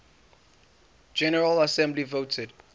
general assembly voted